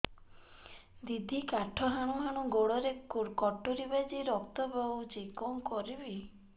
ଦିଦି କାଠ ହାଣୁ ହାଣୁ ଗୋଡରେ କଟୁରୀ ବାଜି ରକ୍ତ ବୋହୁଛି କଣ କରିବି